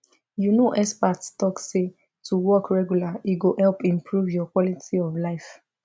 you know experts talk say to walk regular e go help improve your quality of life